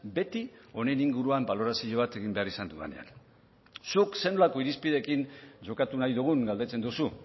beti honen inguruan balorazio bat egin behar izan dudanean zuk zer nolako irizpideekin jokatu nahi dugun galdetzen duzu